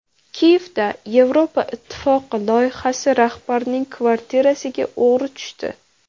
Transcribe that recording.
Kiyevda Yevropa Ittifoqi loyihasi rahbarining kvartirasiga o‘g‘ri tushdi.